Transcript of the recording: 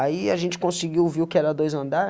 Aí a gente conseguiu, viu que era dois andar.